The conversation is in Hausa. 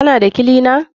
Kana da kilina?